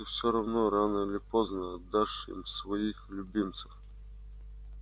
ты всё равно рано или поздно отдашь им своих любимцев